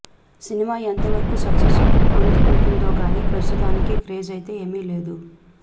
cinema ఎంతవరకు success అందుకుంటుందో గాని ప్రస్తుతానికి క్రేజ్ అయితే ఏమి లేదు